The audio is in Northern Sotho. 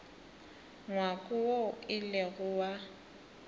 ngwako woo e lego wa